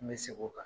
N bɛ segin o kan